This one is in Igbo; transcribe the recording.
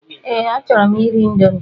Ee, achọrọ m iri índomi